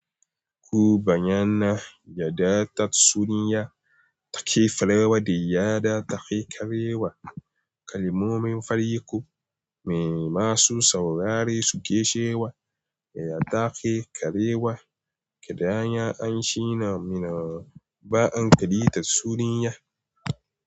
Ku bayyana yaɗda tatsuniya ta ke fara wa da yaɗda take ƙarewa. Kalmomin fari ku mai masu saurari su ƙe cewa, ya take ƙarewa. Idan shi na mana ba'an ƙari ta tatsuniya.